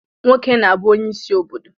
Nwoke na-abu onye isi obodo